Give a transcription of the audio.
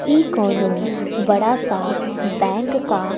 इ कउनो बड़ा सा बैंक का--